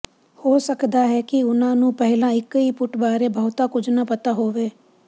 ਹੋ ਸਕਦਾ ਹੈ ਕਿ ਉਨ੍ਹਾਂ ਨੂੰ ਪਹਿਲਾਂ ਇਕੁਇਪੁਟ ਬਾਰੇ ਬਹੁਤਾ ਕੁਝ ਨਾ ਪਤਾ ਹੋਵੇ